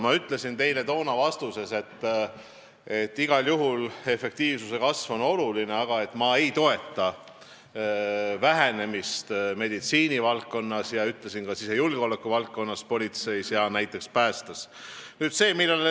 Ma ütlesin teile toona vastuseks, et igal juhul on efektiivsuse kasv oluline, aga ma ei toeta töötajate arvu vähenemist meditsiinivaldkonnas ja ka sisejulgeolekuvaldkonnas, politseis ja näiteks päästeteenistuses.